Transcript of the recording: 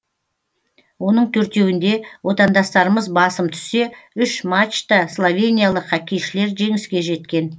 оның төртеуінде отандастарымыз басым түссе үш матчта словениялық хоккейшілер жеңіске жеткен